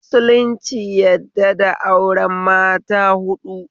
Musulunci yadda da auren mata haɗu